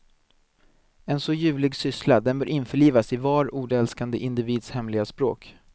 En så ljuvlig syssla, den bör införlivas i var ordälskande individs hemliga språk.